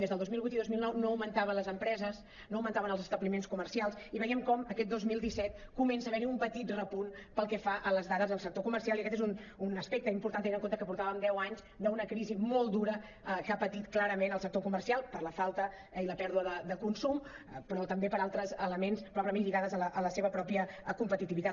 des del dos mil vuit i dos mil nou no augmentaven les empreses no augmentaven els establiments comercials i veiem com aquest dos mil disset comença a haver·hi un petit repunt pel que fa a les dades del sector comercial i aquest és un aspecte important tenint en compte que portàvem deu anys d’una crisi molt dura que ha patit clarament el sector comer·cial per la falta i la pèrdua de consum però també per altres elements probablement lligats a la seva mateixa competitivitat